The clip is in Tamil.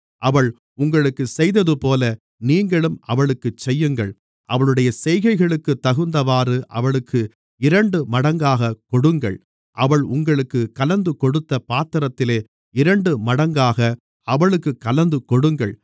அவள் உங்களுக்குச் செய்ததுபோல நீங்களும் அவளுக்குச் செய்யுங்கள் அவளுடைய செய்கைகளுக்கு தகுந்தவாறு அவளுக்கு இரண்டுமடங்காகக் கொடுங்கள் அவள் உங்களுக்குக் கலந்துகொடுத்த பாத்திரத்திலே இரண்டுமடங்காக அவளுக்குக் கலந்துகொடுங்கள்